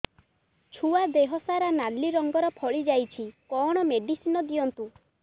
ଛୁଆ ଦେହ ସାରା ନାଲି ରଙ୍ଗର ଫଳି ଯାଇଛି କଣ ମେଡିସିନ ଦିଅନ୍ତୁ